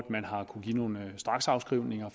man har kunnet give nogle straksafskrivninger